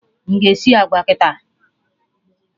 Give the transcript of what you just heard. M ga-esi agwa kịta?